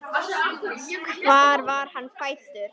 Hvar var hann fæddur?